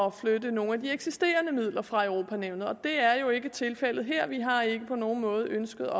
at flytte nogle af de eksisterende midler fra europa nævnet og det er jo ikke tilfældet her vi har ikke på nogen måde ønsket